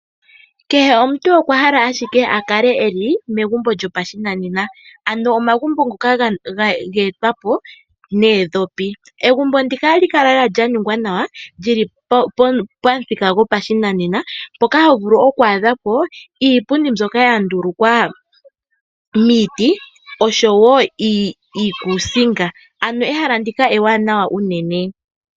Kehe omuntu okwa hala owala akale eli megumbo lyopashinanena. Ano omagumbo ngoka ge etwapo noodhopi. Egumbo ndika ohali kala lela lyaningwa nawa lyili pamuthika gwopashinanena mboka ho vululu okwa adhapo iipundi mboka yandulukwa miiti oshowo iikusinga. Ano ehala ndika ewanawa unene.